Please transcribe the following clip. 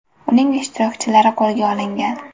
Uning ishtirokchilari qo‘lga olingan.